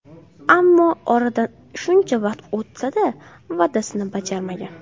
Ammo oradan shuncha vaqt o‘tsa-da, va’dasini bajarmagan.